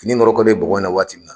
Fini nɔrɔkɔlen bɔgɔ in na waati min na